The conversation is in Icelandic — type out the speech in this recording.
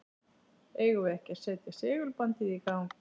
Eigum við ekki að setja segulbandið í gang?